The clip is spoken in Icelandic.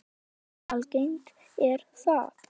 En hversu algengt er það?